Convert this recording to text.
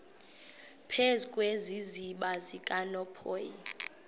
phezu kwesiziba sikanophoyi